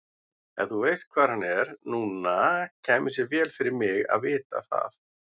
Ef þú veist hvar hann er núna kæmi sér vel fyrir mig að vita það.